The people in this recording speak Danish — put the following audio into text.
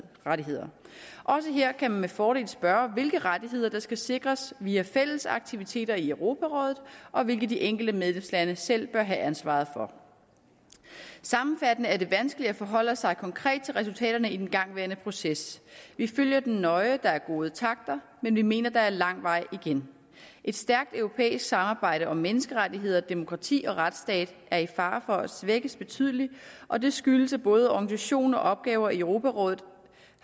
også her kan man med fordel spørge hvilke rettigheder der skal sikres via fælles aktiviteter i europarådet og hvilke de enkelte medlemslande selv bør have ansvaret for sammenfattende er det vanskeligt at forholde sig konkret til resultaterne i den igangværende proces vi følger den nøje der er gode takter men vi mener der er lang vej igen et stærkt europæisk samarbejde om menneskerettigheder demokrati og retsstat er i fare for at blive svækket betydeligt og det skyldes at både organisation og opgaver i europarådet